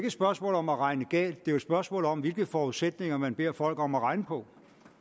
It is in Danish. et spørgsmål om at regne galt det er et spørgsmål om hvilke forudsætninger man beder folk om at regne på